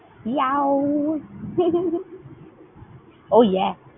oh yeah ।